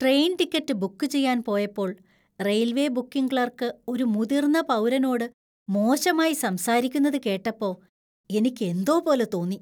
Train ticket book ചെയ്യാൻ പോയപ്പോൾ railway booking clerk ഒരു മുതിർന്ന പൗരനോട് മോശമായി സംസാരിക്കുന്നത് കേട്ടപ്പോ എനിക്ക് എന്തോ പോലെ തോന്നി.